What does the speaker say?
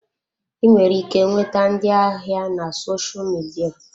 Ị nwere ike nweta ndị ahịa na sosha midia.